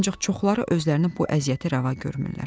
Ancaq çoxları özlərinə bu əziyyəti rəva görmürlər.